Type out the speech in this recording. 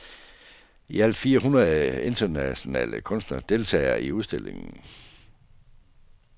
I alt fire hundrede internationale kunstnere deltager i udstillingen.